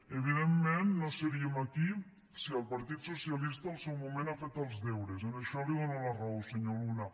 evidentment no seríem aquí si el partit socialista en el seu moment hagués fet els deures en això li dono la raó senyor luna